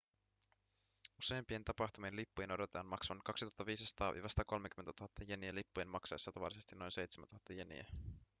useimpien tapahtumien lippujen odotetaan maksavan 2 500-130 000 jeniä lippujen maksaessa tavallisesti noin 7 000 jeniä